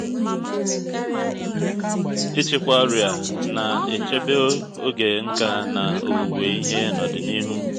ịchịkwa ọrịa na-echebe oge n’ka na owuwe ihe n'ọdịnihu